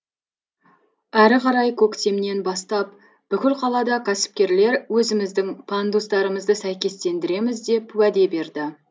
әрі қарай көктемнен бастап бүкіл қалада кәсіпкерлер өзіміздің пандустарымызды сәйкестендіреміз деп уәде берді